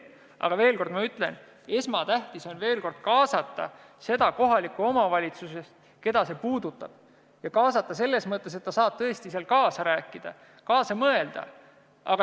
Aga ma veel kord ütlen, et esmatähtis on kaasata see kohalik omavalitsus, keda otsus puudutab, ja kaasata selles mõttes, et ta saab tõesti kaasa rääkida ja kaasa mõelda.